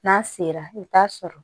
N'a sera i bi t'a sɔrɔ